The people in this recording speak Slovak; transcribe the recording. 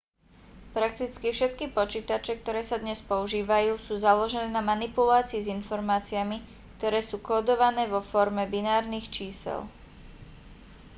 prakticky všetky počítače ktoré sa dnes používajú sú založené na manipulácii s informáciami ktoré sú kódované vo forme binárnych čísel